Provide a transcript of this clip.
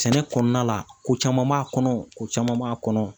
Sɛnɛ kɔnɔna la ko caman b'a kɔnɔ ko caman b'a kɔnɔ